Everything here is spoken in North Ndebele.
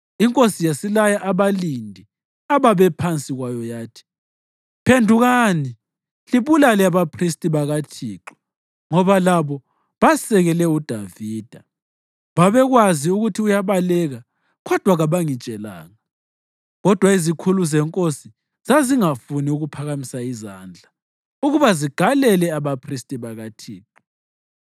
Inkosi yasilaya abalindi ababephansi kwayo yathi, “Phendukani libulale abaphristi bakaThixo ngoba labo basekele uDavida. Babekwazi ukuthi uyabaleka, kodwa kabangitshelanga.” Kodwa izikhulu zenkosi zazingafuni ukuphakamisa izandla ukuba zigalele abaphristi bakaThixo.